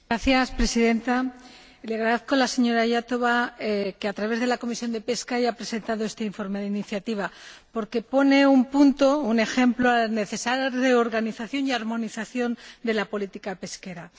Señora Presidenta, le agradezco a la señora Iotova que, a través de la Comisión de Pesca, haya presentado este informe de iniciativa, porque pone un punto, un ejemplo necesario de organización y armonización de la política pesquera.